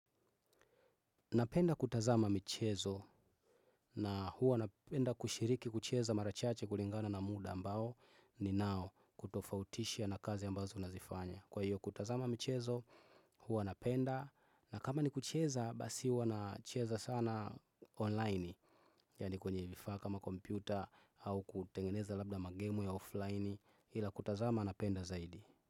Napenda kutazama michezo na huwa napenda kushiriki kucheza mara chache kulingana na muda ambao ninao kutofautishia na kazi ambazo nazifanya. Kwa hiyo kutazama michezo huwa napenda na kama ni kucheza basi huwa nacheza sana online yani kwenye vifaa kama kompyuta au kutengeneza labda magemu ya offline ila kutazama napenda zaidi.